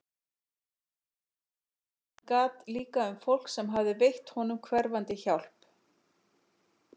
Hann gat líka um fólk sem hafði veitt honum hverfandi hjálp.